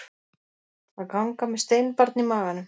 Að ganga með steinbarn í maganum